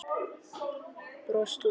Brosti út að eyrum.